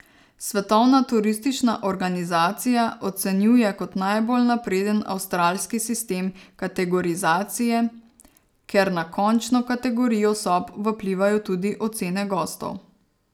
Svetovna turistična organizacija ocenjuje kot najbolj napreden avstralski sistem kategorizacije, ker na končno kategorijo sob vplivajo tudi ocene gostov.